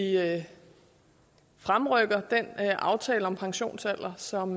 fremrykker den aftale om pensionsalder som